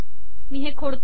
मी हे खोडते